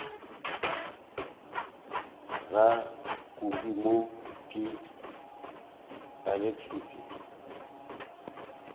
bra kobi mo ke alacrity